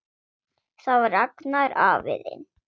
Það var Agnar afi þinn.